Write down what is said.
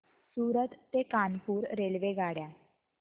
सूरत ते कानपुर रेल्वेगाड्या